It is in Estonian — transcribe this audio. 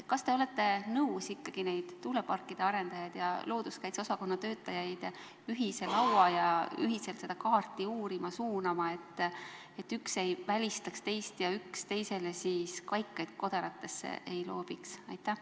Kas te olete nõus ikkagi tuuleparkide arendajaid ja looduskaitse osakonna töötajaid ühise laua taha ühiselt seda kaarti uurima suunama, et üks ei välistaks teist ja üks teisele kaikaid kodaratesse ei loobiks?